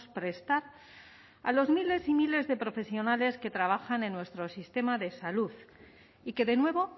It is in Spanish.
prestar a los miles y miles de profesionales que trabajan en nuestro sistema de salud y que de nuevo